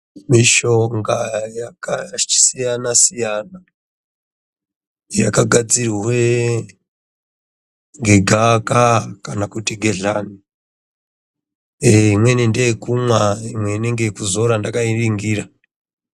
Mishonga yakasiyana-siyana yakagadzirwe ngegavakava kana kuti gedhlani. Imweni ngeyekumwa, imweni ngeyekuzora ndakainingira.